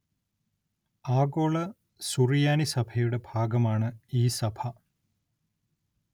ആഗോള സുറിയാനി സഭയുടെ ഭാഗമാണ് ഈ സഭ